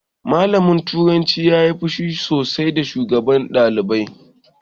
Malamin turanci ya yi fushi sosai da shugaban ɗalibai